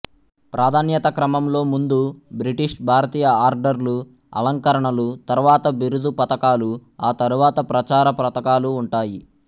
ప్రాధాన్యతా క్రమంలో ముందు బ్రిటిషు భారతీయ ఆర్డర్లు అలంకరణలు తరువాత బిరుదు పతకాలు ఆ తరువాత ప్రచార పతకాలూ ఉంటాయి